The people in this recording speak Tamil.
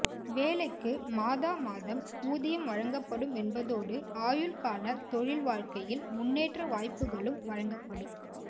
வேலைக்கு மாதா மாதம் ஊதியம் வழங்கப்படும் என்பதோடு ஆயுள்கால தொழில் வாழ்க்கையில் முன்னேற்ற வாய்ப்புகளும் வழங்கப்படும்